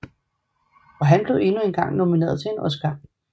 Og han blev endnu engang nomineret til en Oscar